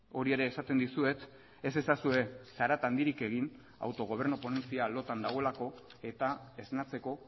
hori ere esaten dizuet ez ezazue zarata handirik egin autogobernu ponentzia lotan dagoelako eta esnatzeko